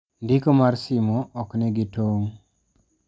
"Ndiko mar simo ok nigi tong'